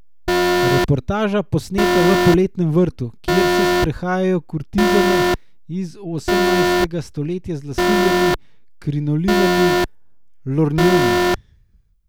Reportaža, posneta v Poletnem vrtu, kjer se sprehajajo kurtizane iz osemnajstega stoletja z lasuljami, krinolinami, lornjoni ...